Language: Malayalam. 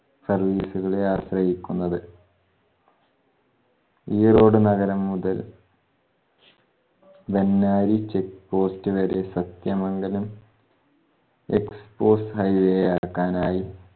service ഉകളെ ആശ്രയിക്കുന്നത്. ഈ road നഗരം മുതൽ വെഞ്ഞാരി checkpost വരെ സത്യമംഗലം export highway ആക്കാനായി